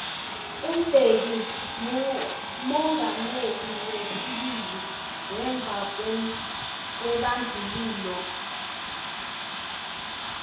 umbeki mumongameli wesibili ngemvakwebandlululo